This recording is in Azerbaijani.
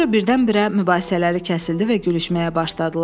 Sonra birdən-birə mübahisələri kəsildi və gülüşməyə başladılar.